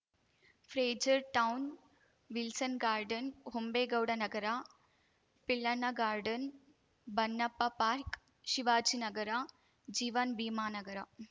Frazer Town Wilson Garden Hombegowda Nagar Pillanna Garden Bannappa Park Shivajinagar Jeevan Bhimanagar